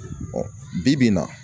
bi-bi in na